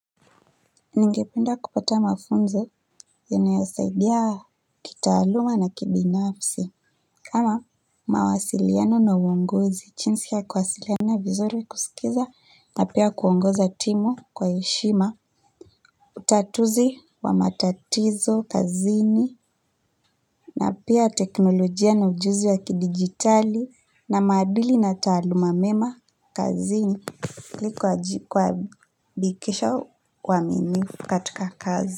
Ningependa kupata mafunzo yanayo saidia kitaaluma na ki binafsi kama mawasiliano na uongozi jinsi ya kuwasiliana vizuri kusikiliza na pia kuongoza timu kwa heshima utatuzi wa matatizo kazini na pia teknolojia na ujuzi wa kidijitali na maduli na taaluma mema kazini ili kuhakikisha uaminifu katika kazi.